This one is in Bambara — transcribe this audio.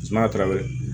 Sumaya ta weele